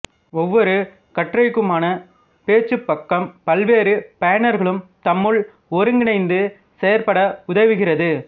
ஒவ்வொரு கட்டுரைக்குமான பேச்சுப்பக்கம் பல்வேறு பயனர்களும் தம்முள் ஒருங்கிணைந்து செயற்பட உதவுகிறது